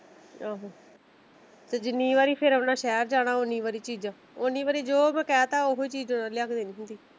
ਆਹੋ ਤੇ ਜਿੰਨੀ ਵਾਰੀ ਸ਼ਹਿਰ ਜਾਣਾ ਉਨੀ ਵਾਰ ਚੀਜਾ ਓਨੀ ਵਾਰੀ ਜੋ ਮੈਂ ਕਹਿ ਤਾ ਓਹੋ ਹੀ ਚੀਜ਼ ਲਿਆ ਕੇ ਦੇਣੀ ਹੁੰਦੀ।